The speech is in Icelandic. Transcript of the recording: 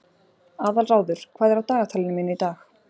Aðalráður, hvað er á dagatalinu mínu í dag?